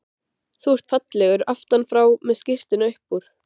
Þú ert fallegur aftan frá með skyrtuna upp úr.